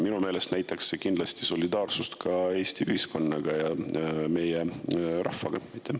Minu meelest näitaks see kindlasti solidaarsust Eesti ühiskonnaga ja rahvaga.